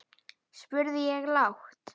spurði ég lágt.